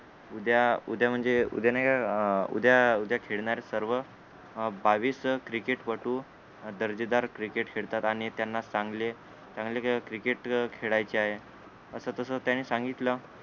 उद्या उद्या म्हणजे उद्या नाहीका अं उद्या उद्या खेळणारेत सर्व अं बावीस क्रिकेटपटू दर्जेदार क्रिकेट खेळतात आणि त्यांना चांगले चांगले क्रिकेट खेळायचे आहे अस तस त्याने सांगितल